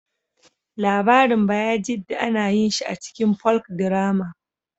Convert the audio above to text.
Labarin Baijida ana yin shi a cikin Folkdrama